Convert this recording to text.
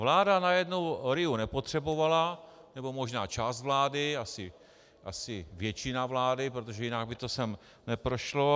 Vláda najednou RIA nepotřebovala nebo možná část vlády, asi většina vlády, protože jinak by to sem neprošlo.